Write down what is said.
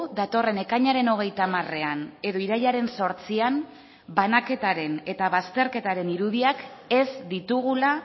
datorren ekainaren hogeita hamarean edo irailaren zortzian banaketaren eta bazterketaren irudiak ez ditugula